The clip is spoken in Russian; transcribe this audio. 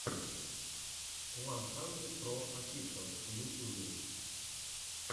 уан хандридпроофишиал в ютюбе